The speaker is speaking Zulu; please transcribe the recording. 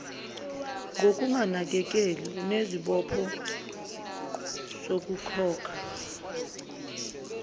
ngokunganakeleli unesibopho sokukhokha